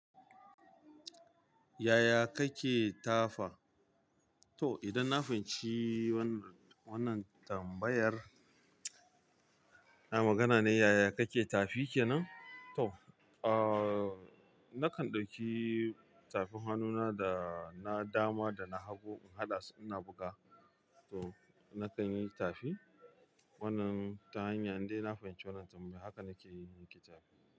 Yaya kake tafa? To, idan na fahimci wannan, wannan tambayar, na magana ne yaya kake tafi ke nan? To, uh, nakan ɗauki tafin hannuna da na dama da na hago in haɗa su ina buga. To, nakan yi tafi wannan ta hanyar dai na fahimci wannan tambayar, haka nake yi tafin.